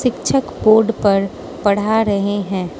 शिक्षक बोर्ड पर पढ़ा रहे हैं।